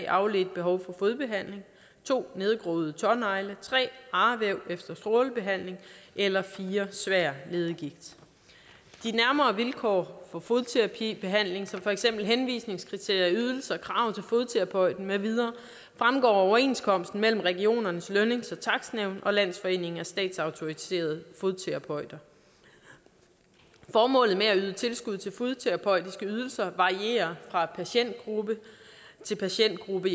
afledt behov for fodbehandling 2 nedgroede tånegle 3 arvæv efter strålebehandling eller 4 svær leddegigt de nærmere vilkår for fodterapibehandling som for eksempel henvisningskriterier ydelser krav til fodterapeuten med videre fremgår af overenskomsten mellem regionernes lønnings og takstnævn og landsforeningen af statsautoriserede fodterapeuter formålet med at yde tilskud til fodterapeutiske ydelser varierer fra patientgruppe til patientgruppe